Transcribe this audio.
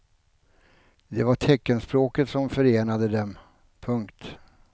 Det var teckenspråket som förenade dem. punkt